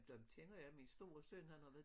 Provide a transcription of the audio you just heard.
Der kender jeg min store søn han har været